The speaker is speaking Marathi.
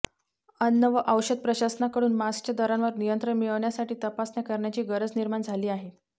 अन्न व औषध प्रशासनाकडून मास्कच्या दरांवर नियंत्रण मिळवण्यासाठी तपासण्या करण्याची गरज निर्माण झाली आहे